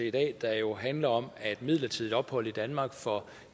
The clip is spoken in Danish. i dag der jo handler om at midlertidigt ophold i danmark for